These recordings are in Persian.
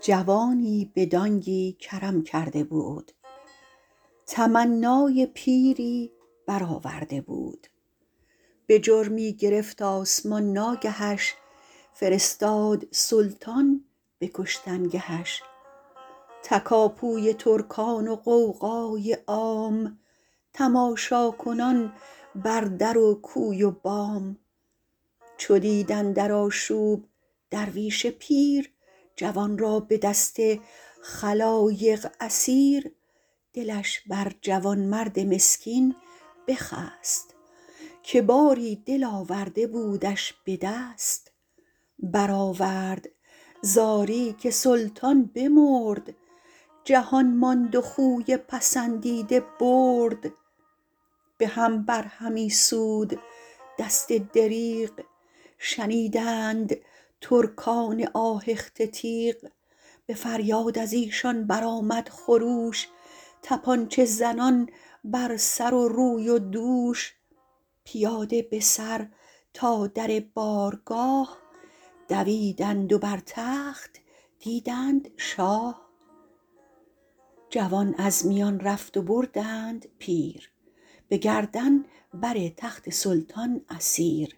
جوانی به دانگی کرم کرده بود تمنای پیری بر آورده بود به جرمی گرفت آسمان ناگهش فرستاد سلطان به کشتنگهش تکاپوی ترکان و غوغای عام تماشاکنان بر در و کوی و بام چو دید اندر آشوب درویش پیر جوان را به دست خلایق اسیر دلش بر جوانمرد مسکین بخست که باری دل آورده بودش به دست برآورد زاری که سلطان بمرد جهان ماند و خوی پسندیده برد به هم بر همی سود دست دریغ شنیدند ترکان آهخته تیغ به فریاد از ایشان بر آمد خروش تپانچه زنان بر سر و روی و دوش پیاده به سر تا در بارگاه دویدند و بر تخت دیدند شاه جوان از میان رفت و بردند پیر به گردن بر تخت سلطان اسیر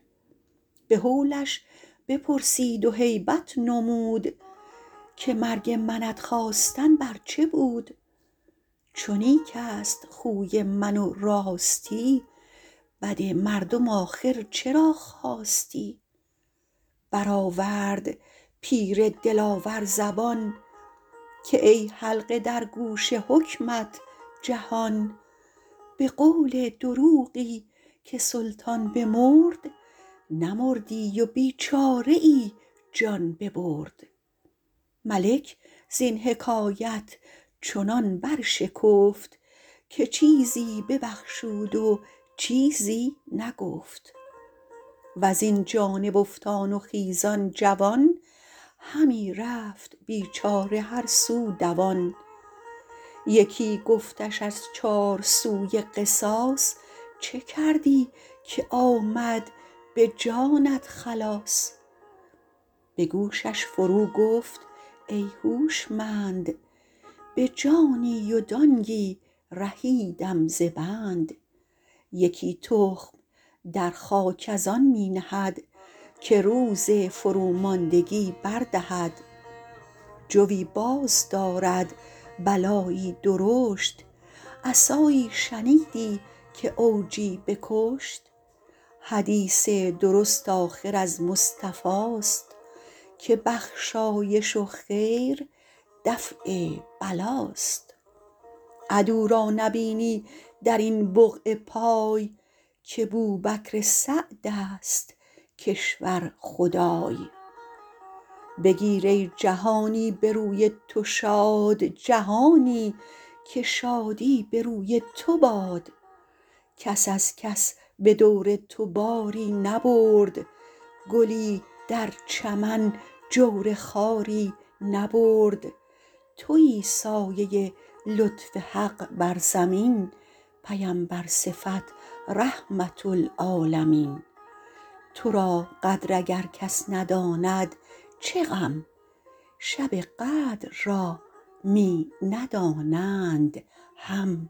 به هولش بپرسید و هیبت نمود که مرگ منت خواستن بر چه بود چو نیک است خوی من و راستی بد مردم آخر چرا خواستی برآورد پیر دلاور زبان که ای حلقه در گوش حکمت جهان به قول دروغی که سلطان بمرد نمردی و بیچاره ای جان ببرد ملک زین حکایت چنان بر شکفت که چیزش ببخشید و چیزی نگفت وز این جانب افتان و خیزان جوان همی رفت بیچاره هر سو دوان یکی گفتش از چار سوی قصاص چه کردی که آمد به جانت خلاص به گوشش فرو گفت کای هوشمند به جانی و دانگی رهیدم ز بند یکی تخم در خاک از آن می نهد که روز فرو ماندگی بر دهد جوی باز دارد بلایی درشت عصایی شنیدی که عوجی بکشت حدیث درست آخر از مصطفاست که بخشایش و خیر دفع بلاست عدو را نبینی در این بقعه پای که بوبکر سعد است کشور خدای بگیر ای جهانی به روی تو شاد جهانی که شادی به روی تو باد کس از کس به دور تو باری نبرد گلی در چمن جور خاری نبرد تویی سایه لطف حق بر زمین پیمبر صفت رحمة للعالمین تو را قدر اگر کس نداند چه غم شب قدر را می ندانند هم